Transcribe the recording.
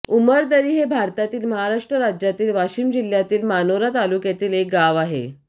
उमरदरी हे भारतातील महाराष्ट्र राज्यातील वाशिम जिल्ह्यातील मानोरा तालुक्यातील एक गाव आहे